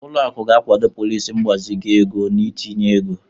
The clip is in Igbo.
Ụlọ akụ ga-akwado pọliisi mgbazinye ego na itinye ego.